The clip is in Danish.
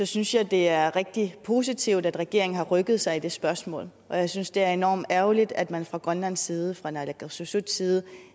synes jeg at det er rigtig positivt at regeringen har rykket sig i det spørgsmål og jeg synes det er enormt ærgerligt at man fra grønlands side fra naalakkersuisuts side